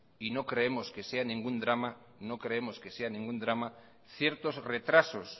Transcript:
y no creemos que sea ningún drama ciertos retrasos